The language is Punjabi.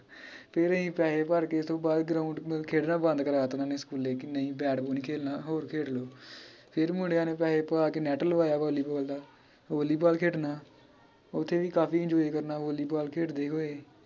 ਫੇਰ ਅਹੀਂ ਪੈਹੇ ਭਰ ਕੇ ਉਤੋਂ ਬਾਅਦ ground ਖੇਡਣਾ ਬੰਦ ਕਰਾਤਾ ਉਹਨਾਂ ਨੇ ਸਕੂਲੇ ਵੀ ਨਈ ਨੀ bat ball ਖੇਡਣਾ ਹੋਰ ਖੇਲ ਲੋ ਫੇਰ ਮੁੰਡਿਆਂ ਨੇ ਪੈਹੇ ਪਵਾ ਕੇ net ਲਵਾਇਆ volleyball ਦਾ volleyball ਖੇਡਣਾ ਓਥੇ ਅਹੀਂ ਕਾਫੀ enjoy ਕਰਨਾ volleyball ਖੇਡਦੇ ਹੋਏ